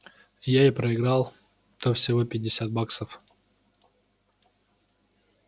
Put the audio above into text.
я и проиграл-то всего пятьдесят баксов